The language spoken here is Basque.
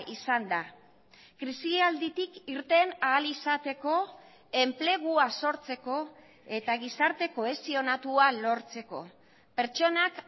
izan da krisialditik irten ahal izateko enplegua sortzeko eta gizarte kohesionatua lortzeko pertsonak